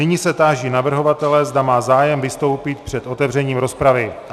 Nyní se táži navrhovatele, zda má zájem vystoupit před otevřením rozpravy.